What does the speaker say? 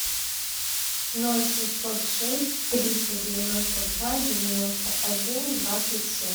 ноль шестьсот шесть триста девяносто два девяносто один двадцать семь